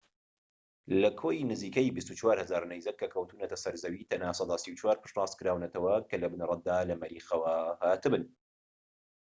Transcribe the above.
لە کۆی نزیکەی ٢٤٠٠٠ نەیزەك کە کەوتونەتە سەر زەوی، تەنها سەدا ٣٤ پشتڕاستکراونەتەوە کە لە بنەڕەتدا لە مەریخەوە هاتبن